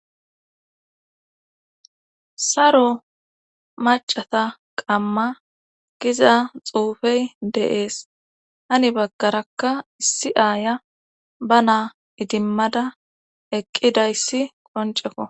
Saro macata qamma giza xuufey deees hani baggarakka issi aaya ba naa idimmada eqqidayssi qonceko